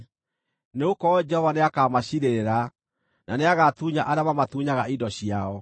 nĩgũkorwo Jehova nĩakamaciirĩrĩra, na nĩagatunya arĩa mamatunyaga indo ciao.